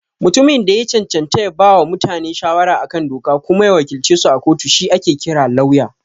Mutumin da ya cancanta ya bawa mutane shawara a kan doka kuma ya wakilcesu a kotu shi ake kira Lauya.